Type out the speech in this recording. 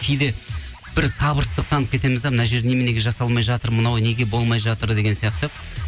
кейде бір сабырсыздық танытып кетеміз де мына жер неменеге жасалмай жатыр мынау неге болмай жатыр деген сияқты